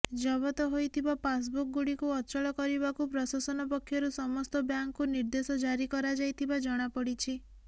ଜବତ ହୋଇଥିବା ପାସବୁକ ଗୁଡିକୁ ଅଚଳ କରିବାକୁ ପ୍ରଶାସନ ପକ୍ଷରୁ ସମସ୍ତ ବ୍ୟାଙ୍କକୁ ନିର୍ଦେଶ ଜାରି କରାଯାଇଥିବା ଜଣାପଡିଛି